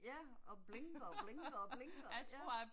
Ja, og blinker og blinker og blinker ja